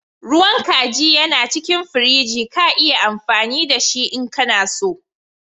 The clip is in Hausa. Ruwan kajin yana cikin firiji. Ka yi amfani da shi n'ka so.